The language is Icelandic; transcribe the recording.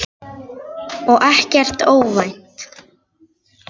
Og ekkert óvænt.